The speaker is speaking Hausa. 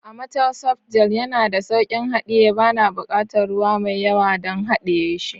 Amatel soft gel yana da sauƙin haɗiye, bana buƙatar ruwa mai yawa don haɗiye shi.